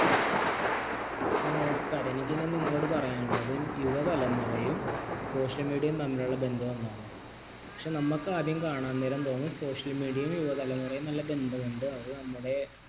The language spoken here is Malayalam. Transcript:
നമസ്കാരം എനിക്ക് ഇന്ന് നിങ്ങളോട് പറയാൻ ഉള്ളത് യുവതലമുറയും social media യും തമ്മിലുള്ളബന്ധം എന്താണ് പക്ഷേ നമുക്ക് ആദ്യം കാണാം നേരം തോന്നും social media യുവതലമുറയും നല്ല ബന്ധം ഉണ്ട് അതു നമ്മുടെ